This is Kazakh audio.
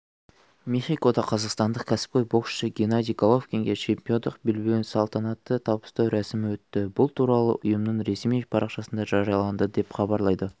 мехикода қазақстандық кәсіпқой боксшы геннадий головкинге чемпиондық белбеуін салтанатты табыстау рәсімі өтті бұл туралы ұйымының ресми парақшасында жарияланды деп хабарлайды